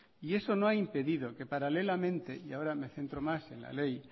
y eso no ha impedido que paralelamente y ahora me centro más en la ley